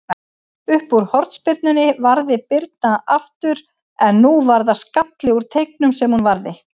Uppúr hornspyrnunni varði Birna aftur, en nú var það skalli úr teignum sem hún varði.